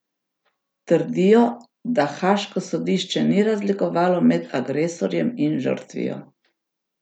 Trdijo, da haaško sodišče ni razlikovalo med agresorjem in žrtvijo.